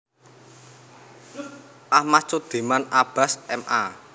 Ahmad Sudiman Abbas M A